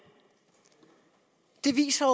det viser